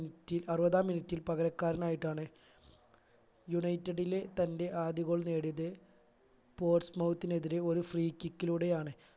minute ൽ അറുപതാം minute ൽ പകരക്കാരനായിട്ടാണ് united ലെ തന്റെ ആദ്യ goal നേടിയത് എതിരെ ഒരു free kick ലൂടെയാണ്